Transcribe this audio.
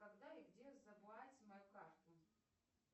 когда и где забрать мою карту